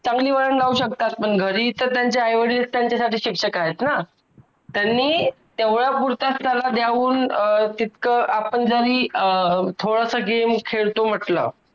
चांगली वळण लावू शकतात पण घरी तर त्यांचे आईवडिलच त्यांचेसाठी शिक्षक आहेत ना त्यांनी तेवढा पुरता त्याला जाऊन तितकं आपण जरी अं थोडंसं game खेळतो म्हंटलं